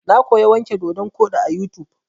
Na koya wanke dodon koɗi a YouTube.